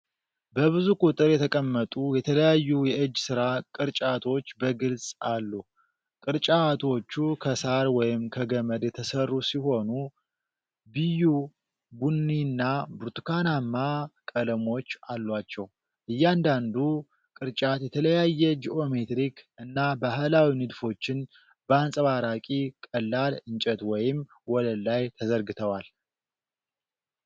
በብዙ ቁጥር የተቀመጡ የተለያዩ የእጅ ሥራ ቅርጫቶች በግልጽ አሉ። ቅርጫቶቹ ከሳር ወይም ከገመድ የተሰሩ ሲሆኑ ቢዩ፣ ቡኒና ብርቱካናማ ቀለሞች አሏቸው። እያንዳንዱ ቅርጫት የተለያዩ ጂኦሜትሪክ እና ባህላዊ ንድፎችን በአንጸባራቂ ቀላል እንጨት ወይም ወለል ላይ ተዘርግተዋል።